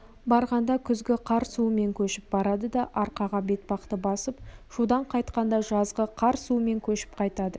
барғанда күзгі қар суымен көшіп барады да арқаға бетпақты басып шудан қайтқанда жазғы қар суымен көшіп қайтады